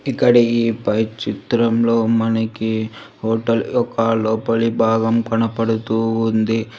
ఇక్కడ ఈ పై చిత్రంలో మనకి హోటల్ ఒక లోపలి భాగం కనపడుతూ ఉంది.